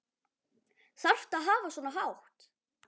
Þarftu að hafa svona hátt?